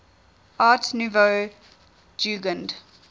art nouveau jugend